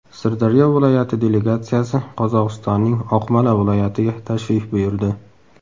Sirdaryo viloyati delegatsiyasi Qozog‘istonning Oqmola viloyatiga tashrif buyurdi.